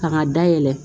K'a dayɛlɛ